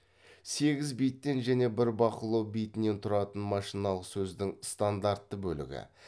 сегіз биттен және бір бақылау битінен тұратын машиналық сөздің стандартты бөлігі